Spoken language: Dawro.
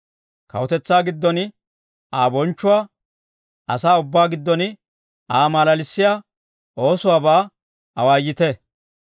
Kawutetsaa giddon Aa bonchchuwaa, asaa ubbaa giddon Aa malalissiyaa oosuwaabaa awaayite.